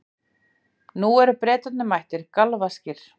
Nú eru Bretarnir mættir, galvaskir.